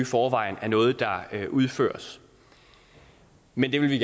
forvejen er noget der udføres men det vil vi